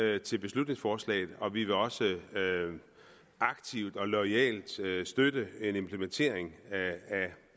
ja til beslutningsforslaget og vi vil også aktivt og loyalt støtte støtte en implementering